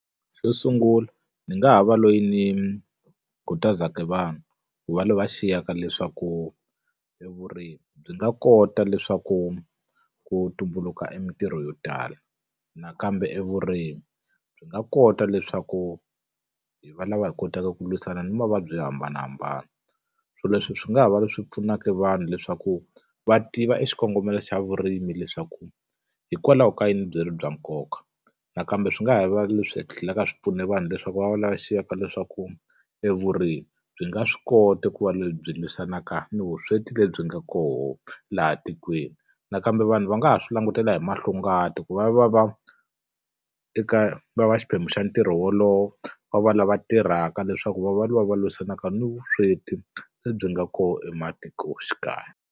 Xo sungula ndzi nga ha va loyi ni khutazaka vanhu ku va lava xiyaka leswaku evurimi byi nga kota leswaku ku tumbuluka mitirho yo tala. Nakambe evurimi byi nga kota leswaku hi va lava hi kotaka ku lwisana ni mavabyi yo hambanahambana. So leswi swi nga ha va swi pfunaka vanhu leswaku va tiva exikongomelo xa vurimi leswaku, hikwalaho ka yini byi ri bya nkoka. Nakambe swi nga ha va leswi tlhelaka swi pfuna vanhu leswaku va va lava xiyaka leswaku evurimi byi nga swi koti ku va lebyi lwisanaka ni vusweti lebyi nga koho laha tikweni. Nakambe vanhu va nga ha swi langutela hi mahlongati ku va va va eka va va xiphemu xa ntirho wolowo, va va lava tirhaka leswaku va va lava va lwisanaka ni vusweti lebyi nga kona ematikoxikaya.